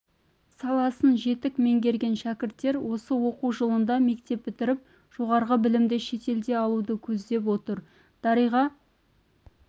саласын жетік меңгерген шәкірттер осы оқу жылында мектеп бітіріп жоғарғы білімді шетелде алуды көздеп отыр дариға